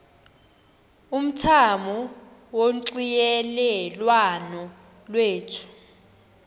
umthamo wonxielelwano lwethu